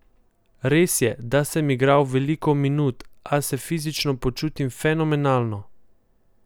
Res je, da sem igral veliko minut, a se fizično počutim fenomenalno.